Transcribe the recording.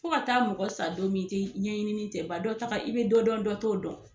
Fo ka taa mɔgɔ sa don min i tɛ ɲɛɲini tɛ ban dɔ ta ka i bɛ dɔ dɔn dɔ t'o dɔn.